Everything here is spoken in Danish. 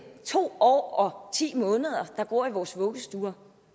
to år og ti måneder og går i vores vuggestuer